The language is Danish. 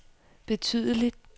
betydelig